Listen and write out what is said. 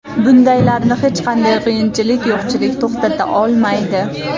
Bundaylarni hech qanday qiyinchilik, yo‘qchilik to‘xtata olmaydi.